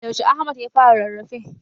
Yaushe Ahmad ya fara rarrafe?